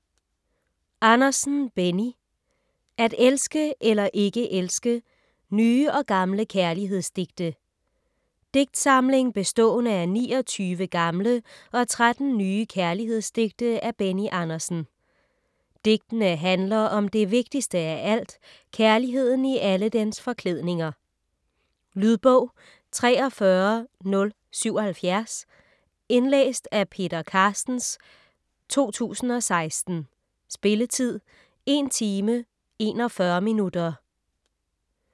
Andersen, Benny: At elske eller ikke elske: nye og gamle kærlighedsdigte Digtsamling bestående af 29 gamle og 13 nye kærlighedsdigte af Benny Andersen. Digtene handler om det vigtigste af alt, kærligheden i alle dens forklædninger. Lydbog 43077 Indlæst af Peter Carstens, 2016. Spilletid: 1 timer, 41 minutter.